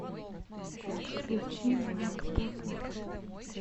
включи майк познер